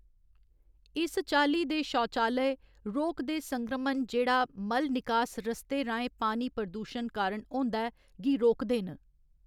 इस चाल्ली दे शौचालय, रोग दे संक्रमण जेह्‌‌ड़ा मल निकास रस्तै राहें पानी प्रदूशन कारण होंदा ऐ, गी रोकदे न।